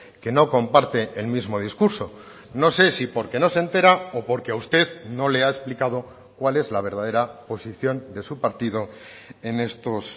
que no comparte el mismo discurso no sé si porque no se entera o porque a usted no le ha explicado cuál es la verdadera posición de su partido en estos